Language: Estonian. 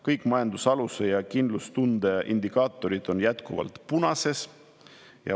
Kõik majandususalduse ja kindlustunde indikaatorid on jätkuvalt "punases".